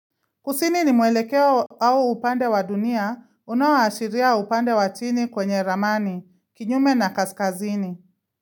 Kusini ni mwelekeo au upande wa dunia, unaoashiria upande wa chini kwenye ramani, kinyume na kaskazini.